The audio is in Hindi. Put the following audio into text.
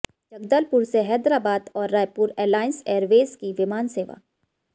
जगदलपुर से हैदराबाद और रायपुर एलायंस एयरवेज की विमान सेवा